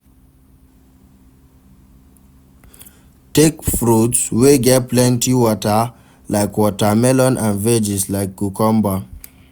Take fruits wey get plenty water like watermelon and veggies like cucumber